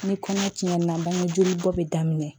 Ni kɔnɔ tiɲɛna bangeje bɔ bɛ daminɛ